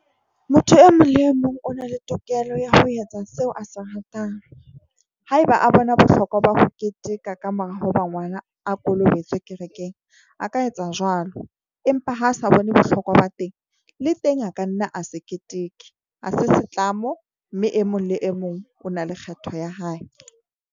Motho e mong le e mong o na le tokelo ya ho etsa seo a se ratang, haeba a bona bohlokwa ba ho keteka ka mora hoba ngwana a kolobetswe kerekeng. A ka etsa jwalo empa ha sa bone bohlokwa ba teng, le teng a ka nna a se keteke. Ha se setlamo mme e mong le e mong o na le kgetho ya hae.